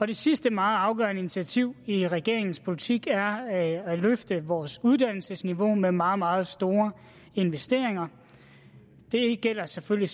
det sidste meget afgørende initiativ i regeringens politik er at løfte vores uddannelsesniveau med meget meget store investeringer det gælder selvfølgelig